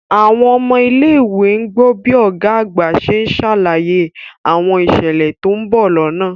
Àwọn ọmọ ilé ìwé ń gbọ́ bí Ọ̀gá àgbà ṣe ń ṣàlàyé àwọn ìṣẹ̀lẹ̀ tó ń bọ̀ lọ́nà